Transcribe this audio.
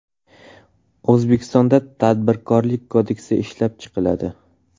O‘zbekistonda Tadbirkorlik kodeksi ishlab chiqiladi.